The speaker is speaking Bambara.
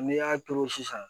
N'i y'a turu sisan